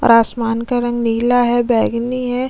और आसमान का रंगी नीला है बेगनी है।